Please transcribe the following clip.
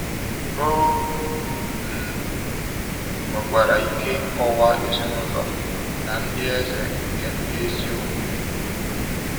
Ọ um nwekwara ike ịkọwa ezinụlọ na ndị eze nke ndị ezi omume.